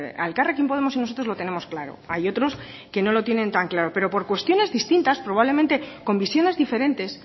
a elkarrekin podemos y nosotros lo tenemos claro hay otros que no lo tienen tan claro pero por cuestiones distintas probablemente con visiones diferentes